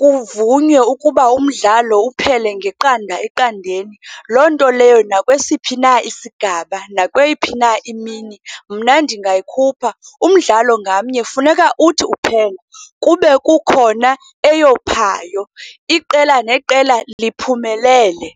kuvunywe ukuba umdlalo mawuphele ngeqanda eqandeni. Loo nto leyo nakwesiphi na isigaba, nakweyiphi na imini, mna ndingayikhupha. Umdlalo ngamnye kufuneka uthi uphela kube kukhona eyophayo, iqela neqela liphumelele.